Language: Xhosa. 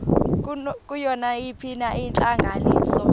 kuyo nayiphina intlanganiso